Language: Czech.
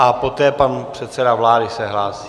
A poté pan předseda vlády se hlásí.